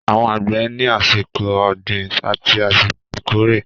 Àwọn àgbẹ̀ ní àsìkò ọ̀gbìn àti àsìkò ìkórè